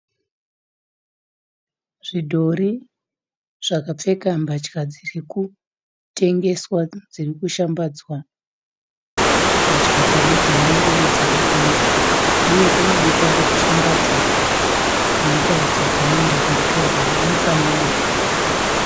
Zvidhori zvakapfeka mbatya dzirikutengeswa dzirikushambadzwa. Mbatya dzemadzimai uye dzevarume. Uye pane bepa rekushambadza rinotaridza panoenda kunotorwa mifananidzo.